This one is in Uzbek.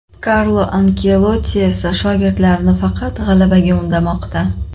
Karlo Anchelotti esa shogirdlarini faqat g‘alabaga undamoqda.